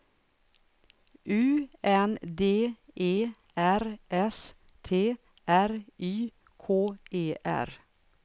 U N D E R S T R Y K E R